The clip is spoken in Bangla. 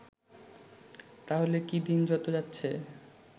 তাহলে কি দিন যত যাচ্ছে